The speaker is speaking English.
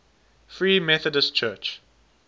free methodist church